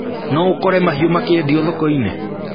No ũkore mahũa makĩendio thoko-inĩ?